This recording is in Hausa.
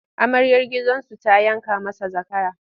Amaryar gidansu ta yanka masa zakara.